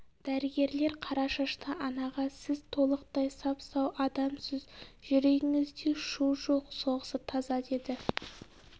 дәрігерлер қара шашты анаға сіз толықтай сап сау адамсыз жүрегіңізде шу жоқ соғысы таза деді